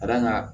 Ka d'a kan